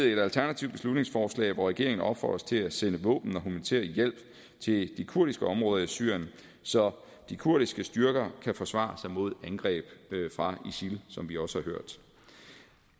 et alternativt beslutningsforslag hvor regeringen opfordres til at sende våben og humanitær hjælp til de kurdiske områder i syrien så de kurdiske styrker kan forsvare sig mod angreb fra isil som vi også